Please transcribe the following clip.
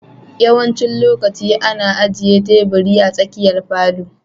Yawancin lokaci ana ajiye tebur a tsakiyar falon.